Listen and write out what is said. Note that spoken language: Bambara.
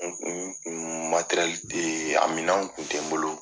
N kun t'e yen, a minɛnw kun te n bolo.